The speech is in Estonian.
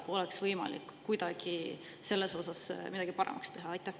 Kas oleks võimalik kuidagi selles osas midagi paremaks teha?